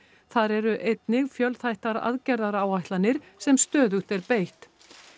þar eru einnig fjölþættar aðgerðaáætlanir sem stöðugt er beitt